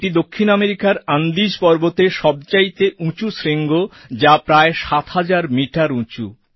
এটি দক্ষিণ আমেরিকার অ্যান্ডিস্ পর্বতের সবচাইতে উঁচু শৃঙ্গ যা প্রায় ৭০০০ মিটার উঁচু